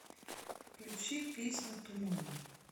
включи песня туманы